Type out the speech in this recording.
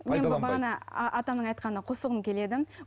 атаның айтқанына қосылғым келеді